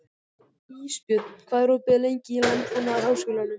Ísbjörn, hvað er opið lengi í Landbúnaðarháskólanum?